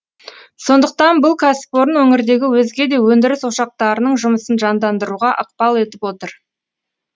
сондықтан бұл кәсіпорын өңірдегі өзге де өндіріс ошақтарының жұмысын жандандыруға ықпал етіп отыр